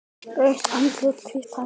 Rautt andlit, hvítt hár.